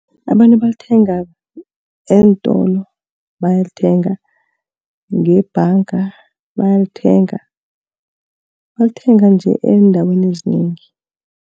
Abantu balithenga eentolo, bayalithenga. Ngebhanga, bayalithenga. Balithenga nje eendaweni ezinengi.